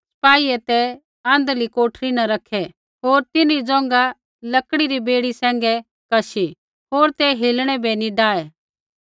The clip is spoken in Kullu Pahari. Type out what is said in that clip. सिपाहियै ते आँध्रली कोठरी न रैखै होर तिन्हरी ज़ोंघा लकड़ी री बेड़ी सैंघै कशी होर ते हिलणै बै नी डाहे